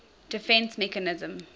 defence mechanism